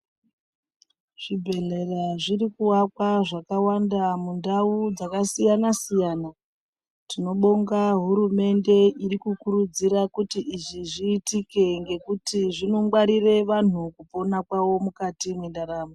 Zvibhedhlera zviri kuakwa zvakawanda mundau dzakasiyana siyana. Tinobonga hurumende iri kukurudzira kuti izvi zviitike ngekuti zvinongwarire vantu kupona kwavo mukati mwendaramo.